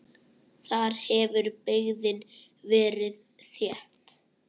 Þar hefur byggðin verið þétt.